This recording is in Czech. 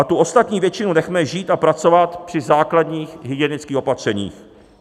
A tu ostatní většinu nechme žít a pracovat při základních hygienických opatřeních.